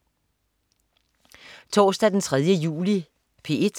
Torsdag den 3. juli - P1: